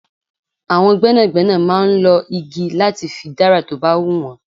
Àwọn gbẹ́nàgbẹ́nà máa ń lọ igi láti fi dára tó bá hun wọn.